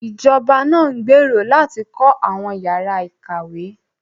Ìjọba náà ń gbèrò láti kọ́ àwọn ìyára ìkàwé